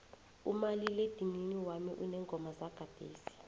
umaliledinini wami uneengoma zagadesi